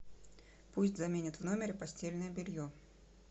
пусть заменят в номере постельное белье